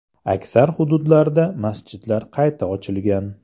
Aksar hududlarda masjidlar qayta ochilgan.